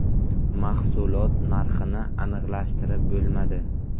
Mahsulot narxini aniqlashtirib bo‘lmadi.